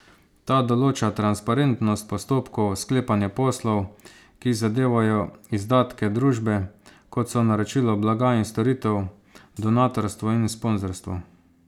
Ta določa transparentnost postopkov sklepanja poslov, ki zadevajo izdatke družbe, kot so naročilo blaga in storitev, donatorstvo in sponzorstvo.